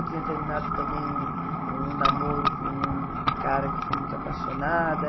Eu tinha terminado também um um namoro com um cara que eu fui muito apaixonada.